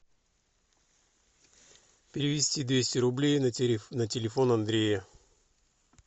перевести двести рублей на телефон андрея